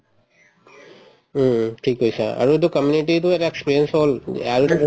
উম ও ঠিক কৈছা আৰু এইটো community তো এটা experience হল আৰু এটা